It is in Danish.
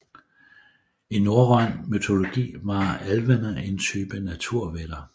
I norrøn mytologi var alvene en type naturvætter